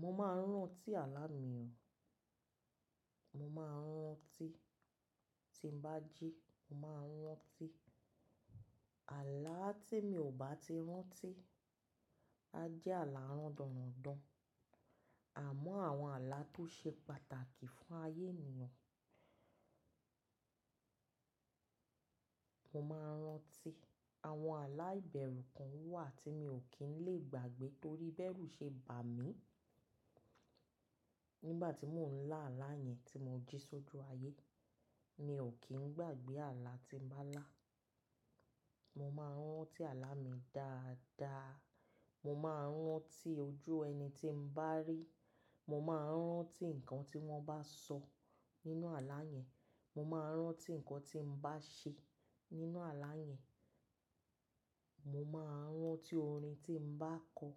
Mo máa ń rántí àlá mi o. Mo máa ń rántí tí n bá jí, mo máa ń rántí àlá tí mi ò bá ti rántí. A jẹ́ àlá rándandan àmọ́ àwọn àlá tó ṣe pàtàkì fún ayé ènìyàn. Mo máa ń rántí àwọn àlá ìbẹ̀rù kan wà tí mi ò kí ń lè gbàgbé torí bẹ́rù ṣe bà mí. Nígbà tí mò ń lá àlá yẹn tí mo jí sójú ayé, mi ò kí ń gbàgbé àlá tí n bá lá. Mo máa ń rántí àlá mi dáadáa. Mo máa ń rántí ojú ẹni tí n bá rí. Mo máa ń rántí nǹkan tí wọ́n bá sọ nínú àlá yẹn. Mo máa ń rántí nǹkan tí n bá ṣe nínú àlá yẹn. Mo máa ń rántí orin tí mo bá kọ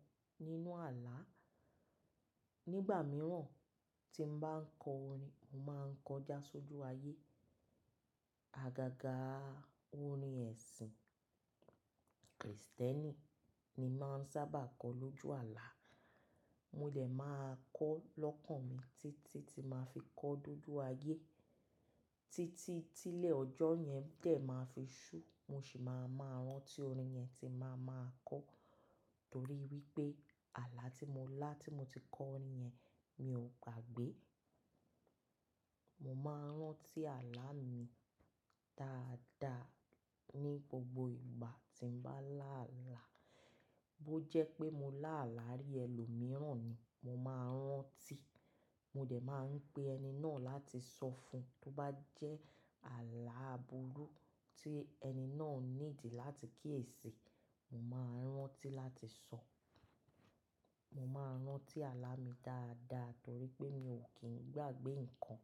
nínú àlá. Nígbà mìíràn tí n bá ń kọ orin, mo máa ń kọ já sójú ayé. Àgàgà orin ẹ̀sìn Kristẹ́nì ni màá ń sábà kọ lójú àlá. Mo dè máa kọ lọ́kàn mi títí tí màá fi kọ ọ dojú ayé. Títí tí ilẹ̀ ọjọ́ yẹn dẹ̀ máa fi ṣú, mo sì máa maa rántí orin yẹn tí n màá maa kọ torí wípé àlá tí mo lá tí mo ti kọ orin yẹn mi ò gbàgbé. Mo máa ń rántí àlá mi dáadáa ní gbogbo ìgbà tí n bá lá àlá. Bó jẹ́ pé mo lá àlá rí ẹlòmíràn ni, mo máa ń rántí. Mo dè máa ń pe ẹni náà láti sọ fún un tó bá jẹ́ àlá aburú tí ẹni náà nídìí láti kíyèsi, mo máa ń rántí láti sọ. Mo máa ń rántí àlá mi dáadáa torí pé mi ò kí ń gbàgbé nǹkan.